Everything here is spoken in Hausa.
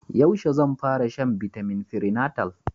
Yaushe zan fara shan bitamin prenatal?